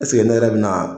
ne yɛrɛ bɛ na